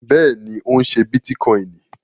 Bẹ́ẹ̀ni, ó ń ṣé bítíkọìnì